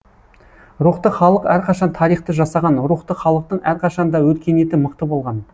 рухты халық әрқашан тарихты жасаған рухты халықтың әрқашан да өркениеті мықты болған